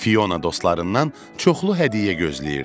Fiona dostlarından çoxlu hədiyyə gözləyirdi.